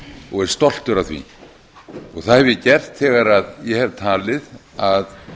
og er stoltur af því það hef ég gert þegar ég hef talið að